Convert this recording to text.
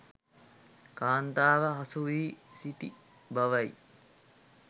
කාන්තාව හසු වී සිටි බවයි.